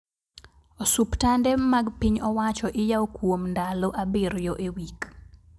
Osuptande mag piny owacho iyao kuwom ndalo abiryo e wik